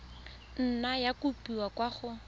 nna ya kopiwa kwa go